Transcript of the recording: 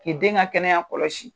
K'i den ka kɛnɛya kɔlɔsi.